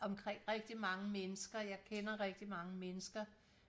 omkring rigtig mange mennesker jeg kender rigtig mange mennesker